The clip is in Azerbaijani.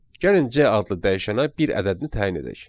Gəlin C adlı dəyişənə bir ədədini təyin edək.